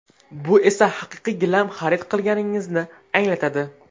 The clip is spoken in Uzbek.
Bu esa haqiqiy gilam xarid qilganingizni anglatadi.